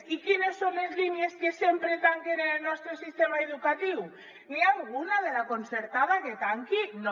i quines són les línies que sempre tanquen en el nostre sistema educatiu n’hi ha alguna de la concertada que tanqui no